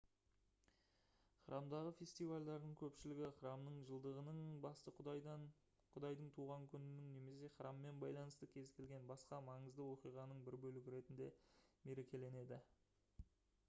храмдағы фестивальдардың көпшілігі храмның жылдығының басты құдайдың туған күнінің немесе храммен байланысты кез келген басқа маңызды оқиғаның бір бөлігі ретінде мерекеленеді